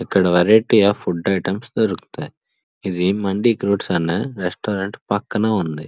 అక్కడ వెరైటీ గా food items దొరుకుతాయి ఇది మండి అన్న రెస్టారెంట్ పక్కనే ఉంది.